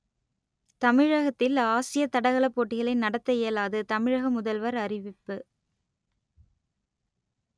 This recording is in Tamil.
தமிழகத்தில் ஆசிய தடகளப் போட்டிகளை நடத்த இயலாது தமிழக முதல்வர் அறிவிப்பு